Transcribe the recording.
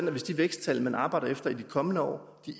at hvis de væksttal man arbejder efter i de kommende år